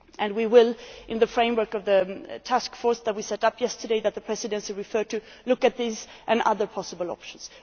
We will, in the framework of the task force that we set up yesterday and that the Presidency referred to, look at these and other possible options.